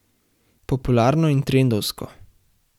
Popularno in trendovsko.